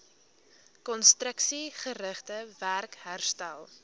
konstruksiegerigte werk herstel